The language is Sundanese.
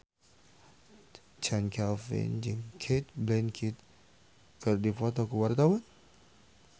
Chand Kelvin jeung Cate Blanchett keur dipoto ku wartawan